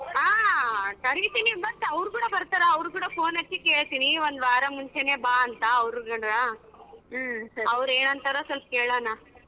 ಹಾ ಕರೀತೀನಿ but ಅವ್ರ ಕೂಡ ಬರ್ತಾರ ಅವರು ಕೂಡ phone ಹಚ್ಚಿ ಕೇಳ್ತೀನಿ ಒಂದು ವಾರದ ಮುಂಚೆನೆ ಬಾ ಅಂತ ಅವರ್ಗಳನ ಅವ್ರ ಏನ್ ಹೇಳತರೋ ಕೇಳೋಣ.